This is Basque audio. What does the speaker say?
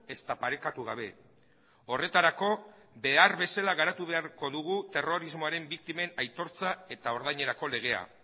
ezta parekatu gabe horretarako behar bezala garatu beharko dugu terrorismoaren biktimen aitortza eta ordainerako legea